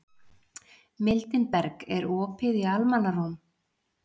Mildinberg, er opið í Almannaróm?